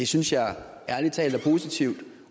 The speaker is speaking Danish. synes jeg ærlig talt er positivt